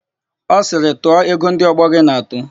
Ọ sịrị, "tụọ ego ndị ọgbọ gị na-atụ"!